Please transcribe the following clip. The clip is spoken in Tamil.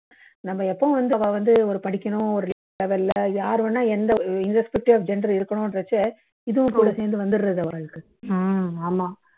நம்மா எப்பவும் வந்து அவா அவந்து ஒரு படிக்கணும் ஒரு தேவையில்லா யாருவேனா எந்த இந்த irrespective of gender இருக்கணும் என்றச்ச இதுவும் கூட சேர்ந்து வந்துடுது அவாளுக்கு